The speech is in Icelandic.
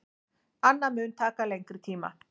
Annað mun taka lengri tíma.